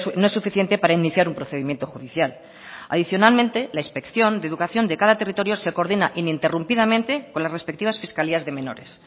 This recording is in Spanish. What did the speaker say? no es suficiente para iniciar un procedimiento judicial adicionalmente la inspección de educación de cada territorio se coordina ininterrumpidamente con las respectivas fiscalías de menores